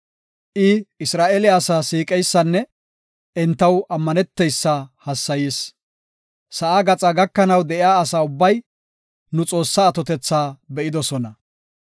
I Isra7eele asaa siiqeysanne entaw ammaneteysa hassayis. Sa7aa gaxaa gakanaw de7iya asa ubbay nu Xoossaa atotetha be7idosona.